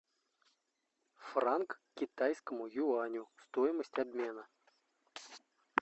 франк к китайскому юаню стоимость обмена